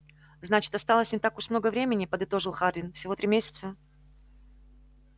значит осталось не так уж много времени подытожил хардин всего три месяца